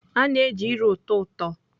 A na-eji ire ụtọ ụtọ.